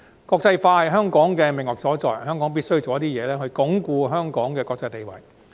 國際化是香港的命脈所在，香港必須設法鞏固香港的國際地位。